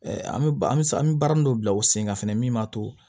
An bɛ baara min bila o sen kan fɛnɛ min b'a to